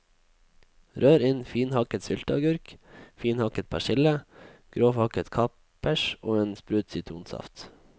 Rør inn finhakket sylteagurk, finhakket persille, grovhakket kapers og en sprut sitronsaft.